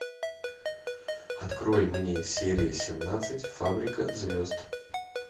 открой мне серия семнадцать фабрика звезд